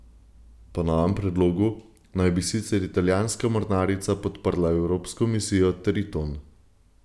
Po novem predlogu naj bi sicer italijanska mornarica podprla evropsko misijo Triton.